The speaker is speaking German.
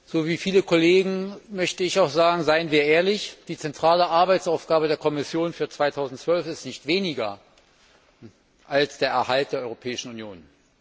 So wie viele Kollegen möchte auch ich sagen Seien wir ehrlich, die zentrale Arbeitsaufgabe der Kommission für 2012 ist nichts weniger als der Erhalt der Europäischen Union.